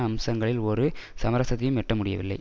அம்சங்களில் ஒரு சமரசத்தையும் எட்ட முடியவில்லை